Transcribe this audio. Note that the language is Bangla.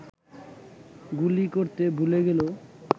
গুলি করতে ভুলে গেল